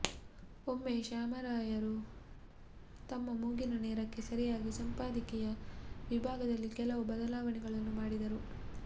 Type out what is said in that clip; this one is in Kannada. ಒಮ್ಮೆ ಶ್ಯಾಮರಾಯರು ತಮ್ಮ ಮೂಗಿನ ನೇರಕ್ಕೆ ಸರಿಯಾಗಿ ಸಂಪಾದಕೀಯ ವಿಭಾಗದಲ್ಲಿ ಕೆಲವು ಬದಲಾವಣೆಗಳನ್ನು ಮಾಡಿದರು